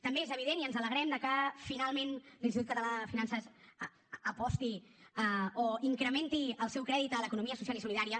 també és evident i ens alegrem que finalment l’institut català de finances aposti o incrementi el seu crèdit a l’economia social i solidària